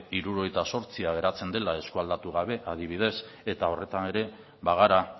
hirurogeita zortzi geratzen dela eskualdatu gabe adibidez eta horretan ere bagara